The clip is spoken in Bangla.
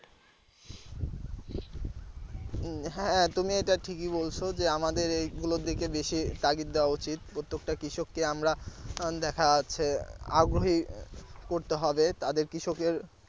উম হ্যাঁ তুমি এটা ঠিকই বলছ যে আমাদের এগুলোর দিকে বেশি তাগিদ দেওয়া উচিত প্রত্যেকটা কৃষককে আমরা দেখা যাচ্ছে আগ্রহী করতে হবে তাদের কৃষকের।